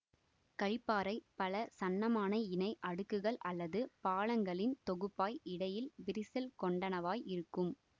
களிப்பாறை பல சன்னமான இணை அடுக்குகள் அல்லது பாளங்களின் தொகுப்பாய் இடையில் விரிசல் கொண்டனவாய் இருக்கும்